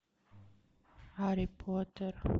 гарри поттер